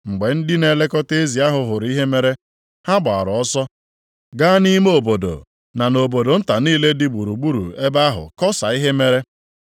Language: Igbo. Mgbe ndị na-elekọta ezi ahụ hụrụ ihe mere, ha gbara ọsọ gaa nʼime obodo na nʼobodo nta niile dị gburugburu ebe ahụ kọsaa ihe mere.